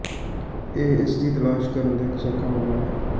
ਇਹ ਇਸ ਦੀ ਤਲਾਸ਼ ਕਰਨ ਦਾ ਇਕ ਸੌਖਾ ਮਾਮਲਾ ਹੈ